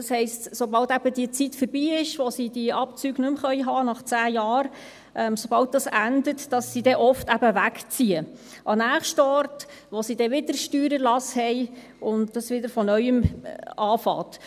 Das heisst, sobald eben die Zeit vorbei ist und sie diese Abzüge nach 10 Jahren nicht mehr haben können, sobald dies endet, ziehen sie dann oft weg – an den nächsten Ort, wo sie dann wieder Steuererlass haben und dies dann wieder von Neuem anfängt.